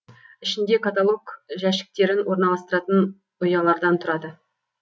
ішінде каталог жәшіктерін орналастыратын ұялардан тұрады